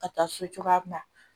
Ka taa so cogoya min na